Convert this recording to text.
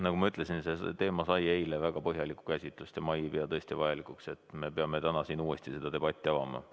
Nagu ma ütlesin, see teema sai eile väga põhjalikku käsitlust ja ma ei pea vajalikuks, et me peame täna siin uuesti seda debatti avama.